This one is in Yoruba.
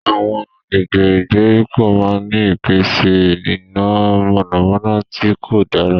Awọn agbègbè ìgbèríko máà n ni ìpèsè iná mọnamọna tí kò dára